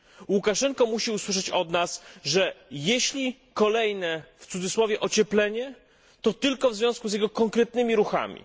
Łukaszenka musi usłyszeć od nas, że jeśli kolejne w cudzysłowie ocieplenie, to tylko w związku z jego konkretnymi ruchami.